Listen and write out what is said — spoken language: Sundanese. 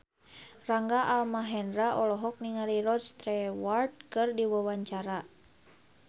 Rangga Almahendra olohok ningali Rod Stewart keur diwawancara